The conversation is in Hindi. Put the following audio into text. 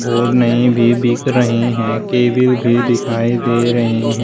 और नई भी बिक रही हैं केबिल भी दिखाई दे रही हैं।